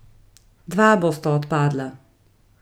Dva bosta odpadla.